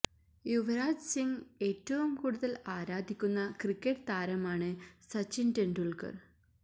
യുവരാജ് സിംഗ് ഏറ്റവും കൂടുതല് ആരാധിക്കുന്ന ക്രിക്കറ്റ് താരമാണ് സച്ചിന് തെണ്ടുല്ക്കര്